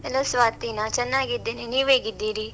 Hello Swati, ನಾನ್ ಚನ್ನಾಗಿದ್ದೇನೆ, ನೀವ್ ಹೇಗಿದ್ದೀರಿ?